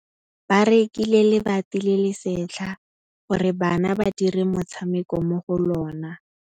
Ba rekile lebati le le setlha gore bana ba dire motshameko mo go lona.